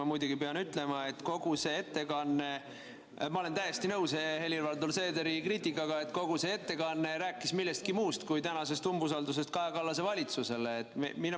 Ma muidugi pean ütlema, et olen täiesti nõus Helir-Valdor Seederi kriitikaga, et kogu see ettekanne rääkis millestki muust kui tänasest umbusaldusest Kaja Kallase valitsuse vastu.